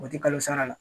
O tɛ kalo sara la